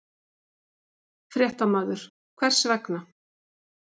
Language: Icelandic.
Fréttamaður: Hvers vegna?